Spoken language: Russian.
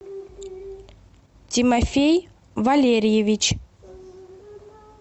тимофей валерьевич